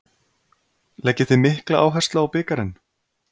Leggið þið mikla áherslu á bikarinn?